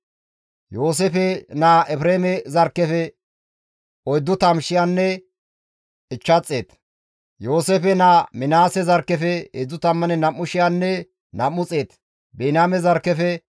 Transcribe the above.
Musey, Aarooneynne tammanne nam7u Isra7eele zarkketa korapinneti qoodida attuma asay haytantta;